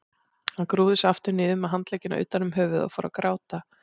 Hún grúfði sig aftur niður með handleggina utan um höfuðið og fór að gráta.